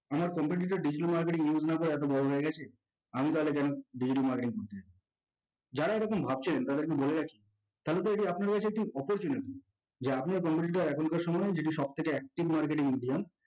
আমার competitor digital marketing use না করে এতো বড় হয়ে গেছে আমি তাহলে কেন digital marketing করতে যাব? যারা এরকম ভাবছেন তাদেরকে বলে রাখি কারণ এটি আপনার life এ একটি opportunity যা আপনি আর competitor এখনকার সময়ে যেটি সবথেকে active marketing এর মধ্যে দিয়ে